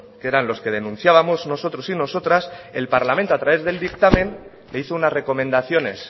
que eran los que denunciábamos nosotros y nosotras el parlamento a través del dictamen le hizo unas recomendaciones